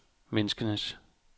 menneskers